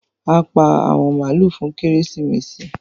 A pá àwọn maalu fún Kérésìmesì.